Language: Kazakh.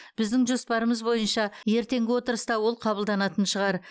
біздің жоспарымыз бойынша ертеңгі отырыста ол қабылданатын шығар